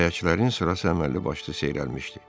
Kirayəçilərin sırası əməlli başlı seyrəlmişdi.